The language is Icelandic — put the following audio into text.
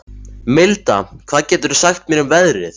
Milda, hvað geturðu sagt mér um veðrið?